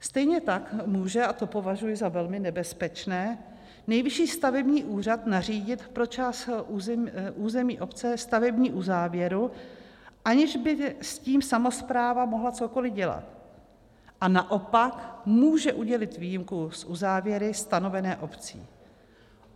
Stejně tak může - a to považuji za velmi nebezpečné - Nejvyšší stavební úřad nařídit pro část území obce stavební uzávěru, aniž by s tím samospráva mohla cokoli dělat, a naopak může udělit výjimku z uzávěry stanovené obcí.